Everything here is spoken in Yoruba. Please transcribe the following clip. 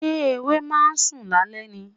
Ṣé ewé ma ń sùn lálẹ́ ni?